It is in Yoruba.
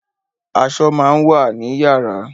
Aṣọ máa ń wà ni yàrá